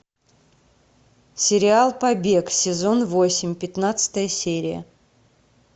сериал побег сезон восемь пятнадцатая серия